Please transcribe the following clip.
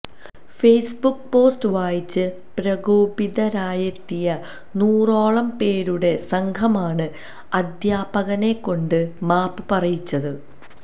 Facebook post വായിച്ച് പ്രകേപിതരായെത്തിയ നൂറോളം പേരുടെ സംഘമാണ് അധ്യാപകനെക്കൊണ്ട് മാപ്പ് പറയിച്ചത്